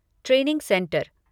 training centre